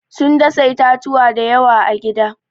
Sun dasa itatuwa da yawa a gida.